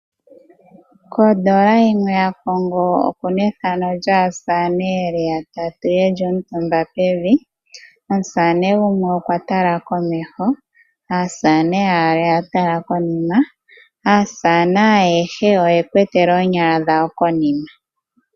Odola yimwe yaCongo okuna ethano lyaasamane ye li yatatu ye li omutumba pevi, omusamane gumwe okwa tala komeho aasamane yaali oyatala konima. Aasamane ayehe oytula oonyala dhawo konima.